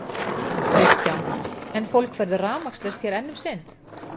Kristján: En fólk verður rafmagnslaust hér enn um sinn?